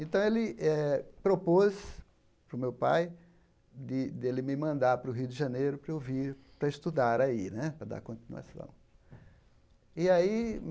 Então, ele eh propôs para o meu pai de dele me mandar para o Rio de Janeiro para eu vir para estudar aí, para dar continuação. E aí